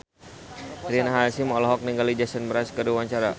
Rina Hasyim olohok ningali Jason Mraz keur diwawancara